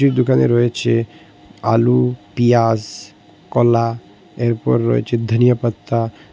এই দুকানে রয়েচে আলু পিয়াজ কলা এরপর রয়েচে ধনিয়াপাত্তা।